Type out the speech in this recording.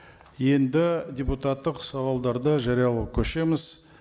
енді депутаттық сауалдарды жариялауға көшеміз